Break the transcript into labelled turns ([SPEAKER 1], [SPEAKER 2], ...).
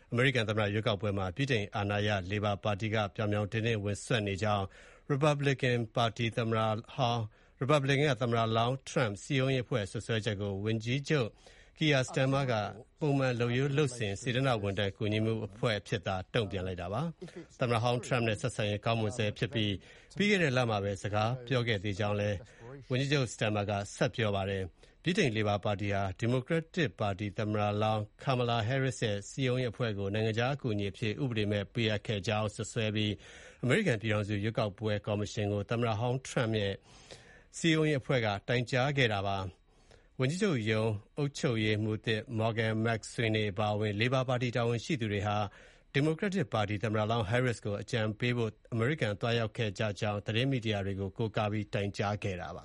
[SPEAKER 1] အမေရိကန်သမ္မတ ရွေးကောက်ပွဲမှာ ဗြိတိန်အာဏာရ လေဘာပါတီက ပြောင်ပြောင်တင်းတင်း စွက်ဖက်နေကြောင်း ရီပတ်ဘလစ်ကန်ပါတီ သမ္မတလောင်း Donald Trump ရဲ့ စည်းရုံးရေးအဖွဲ့ရဲ့ စွပ်စွဲချက်ကို ဝန်ကြီးချုပ် Keir Starmer က ပုံမှန်လုပ်ရိုးလုပ်စဉ် စေတနာ့ဝန်ထမ်း ကူညီမှုအဖြစ် တုံ့ပြန်လိုက်ပါတယ်။ သမ္မတဟောင်း ထရမ့်နဲ့ ဆက်ဆံရေး ကောင်းမွန်ဆဲဖြစ်ပြီး၊ ပြီးခဲ့တဲ့ လမှာပဲ စကားပြောခဲ့ကြောင်းလည်း ပြောဆိုခဲ့တာပါ။ ဗြိတိန်လေဘာပါတီဟာ ဒီမိုကရက်တစ်ပါတီ သမ္မတလောင်း Kamala Harris ရဲ့ စည်းရုံးရေးအဖွဲ့ကို နိုင်ငံခြား အကူအညီအဖြစ် ဥပဒေမဲ့ ပေးအပ်ခဲ့ကြောင်း စွပ်စွဲပြီး အမေရိကန် ပြည်ထောင်စု ရွေးကောက်ပွဲ ကော်မရှင်ကို သမ္မတဟောင်းထရမ့် ရဲ့ စည်းရုံးရေးအဖွဲ့က တိုင်ကြားခဲ့တာ ဖြစ်ပါတယ်။ ဝန်ကြီးချုပ်ရုံး အုပ်ချုပ်ရေးမှူးသစ် Morgan McSweeney အပါအဝင် လေဘာပါတီ တာဝန်ရှိသူတွေဟာ ဒီမိုကရက်တစ်ပါတီ သမ္မတလောင်း Harris ကို အကြံပေးဖို့ အမေရိကန်ကို သွားရောက်ခဲ့ကြကြောင်း သတင်းမီဒီယာတွေကို ကိုးကားပြီး တိုင်ကြားထားတာပါ